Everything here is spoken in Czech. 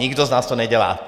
Nikdo z nás to nedělá.